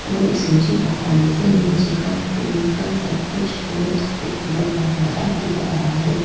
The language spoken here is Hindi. और इस ऊंचे पहाड़ी से नीचे का पूरा सब कुछ बहुत खूबसूरत नजारा दिख रहा है।